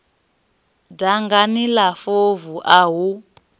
dangani la fovu a hu